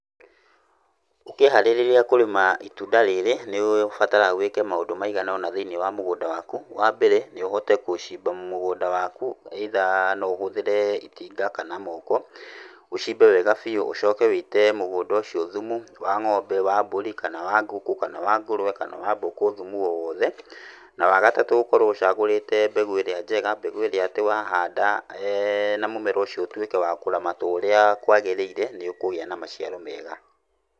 Ũkĩĩharĩrĩria kũrĩma itunda rĩrĩ nĩ ũbataraga wĩke maũndũ maigana ũna thĩiniĩ wa mũgũnda waku. Wambere nĩ ũhote gũcimba mũgũnda waku either no ũhũthĩre itinga kana moko, ũcimbe wega biũ ũcoke wĩite mũgũnda ũcio thumu wa ng'ombe, wa mbũri, kana wa ngũkũ, kana wa ngũrũwe, kana wa mbũkũ, thumu o wothe. Na wagatatũ ũkorwo ũcagũrĩte mbegũ ĩrĩa njega, mbegũ ĩrĩa atĩ wahanda na mũmera ũcio ũtuĩke wa kũramatwo ũrĩa kwagĩrĩire nĩ ũkũgĩa na maciaro mega.